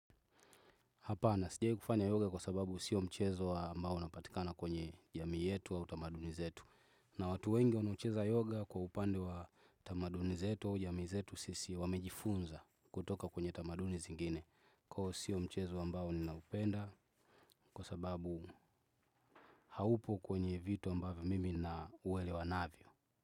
Hapana sijawai kufanya yoga kwa sababu sio mchezo ambao unapatikana kwenye jamii yetu au tamaduni zetu. Na watu wengi wanaocheza yoga kwa upande wa utamaduni zetu au jamii zetu sisi wamejifunza kutoka kwenye tamaduni zingine. Kwa hiyo sio mchezo ambao ninaupenda kwa sababu haupo kwenye vitu ambavyo mimi nauwele navyo.